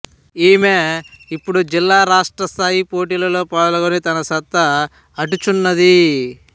ఈమె ఇపుడు జిల్లా రాష్ట్రస్థాయి పోటీలలో పాల్గొని తన సత్తా అటుచున్నది